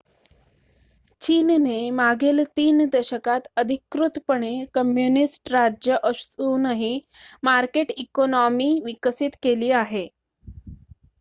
चीनने मागील ३ दशकांत अधिकृतपणे कम्युनिस्ट राज्य असूनही मार्केट इकोनॉमी विकसित केली आहे